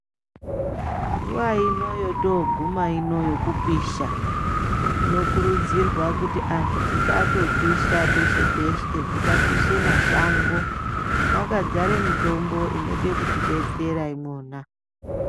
Nguwa ino yotoguma ino yekupisha ,tinokurudzirwa kuti anhu tisandopisha peshe-peshe tisapishe mashango mwakazare mitombo inode kutidetsera imwona.